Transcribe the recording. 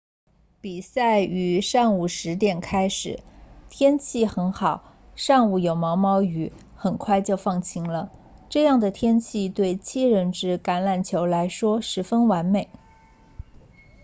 比赛于上午10点开始天气很好上午有毛毛雨很快就放晴了这样的天气对七人制橄榄球来说十分完美